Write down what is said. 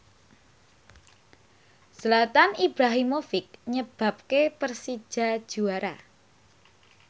Zlatan Ibrahimovic nyebabke Persija juara